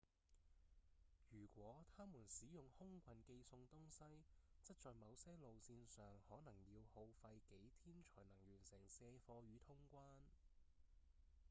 如果他們使用空運寄送東西則在某些路線上可能要耗費幾天才能完成卸貨與通關